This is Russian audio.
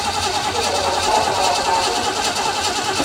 афина поставь лара фабиан токками